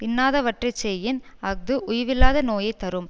இன்னாதவற்றை செய்யின் அஃது உய்வில்லாத நோயைத்தரும்